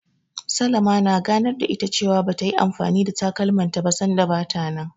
Salama na ganar da ita cewa bata yi anfani da takalmanta ba, sanda bata nan.